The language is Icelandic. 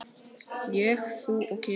Ég, þú og kisi.